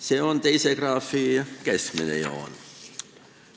See on teise graafi keskmine joon.